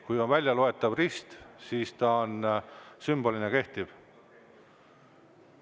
Kui on väljaloetav rist, siis on ta sümbolina kehtiv.